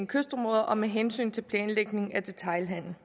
kystområder og med hensyn til planlægning af detailhandel